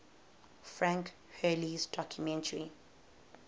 frank hurley's documentary